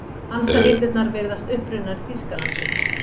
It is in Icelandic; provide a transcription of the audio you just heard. Hansahillurnar virðast upprunnar í Þýskalandi.